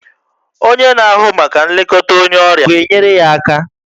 Onye na-ahụ maka nlekọta onye ọrịa ọ ga-enyere ya aka?